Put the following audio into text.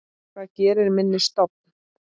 Hvað gerir minni stofn?